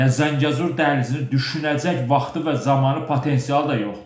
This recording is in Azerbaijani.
Yəni Zəngəzur dəhlizini düşünəcəyi vaxtı və zamanı potensialı da yoxdur.